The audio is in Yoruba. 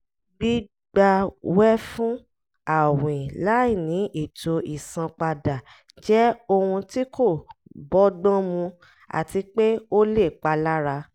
gbígbawẹ́fún àwìn láìní ètò ìsanpadà jẹ́ ohun tí kò bọ́gbọ́n mu àti pé ó lè palára